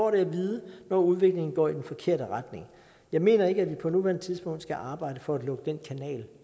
at vide når udviklingen går i den forkerte retning jeg mener ikke at vi på nuværende tidspunkt skal arbejde for at lukke den kanal